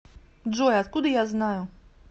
джой откуда я знаю